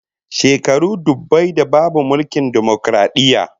Shekaru dubbai da babu mulkin dimokaradiyya